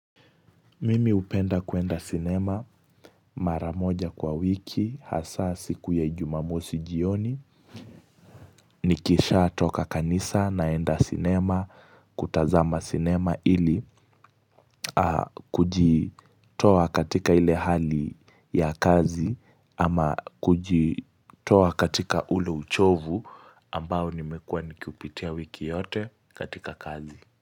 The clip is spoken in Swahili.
Mimi hupenda kuenda cinema maramoja kwa wiki hasa siku ya ijumamosi jioni Nikisha toka kanisa naenda cinema kutazama cinema ili kuji toa katika ile hali ya kazi ama kujitoa katika ule uchovu ambao nimekua nikiupitia wiki yote katika kazi.